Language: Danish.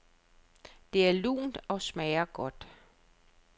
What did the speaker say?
Det er lunt og smager godt.